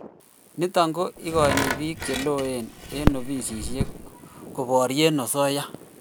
nitok ko ikoini piik che loen eng ofisishek ko parie asoya